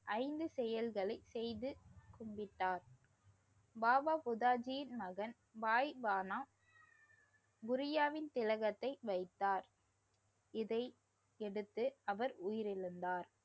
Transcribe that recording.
ஐந்து செயல்களை செய்து விட்டார். பாபா புட்டாஜியின் மகன் பாய்கானா புரியாவின் திலகத்தை வைத்தார். இதை எதிர்த்து அவர் உயிரிழந்தார்.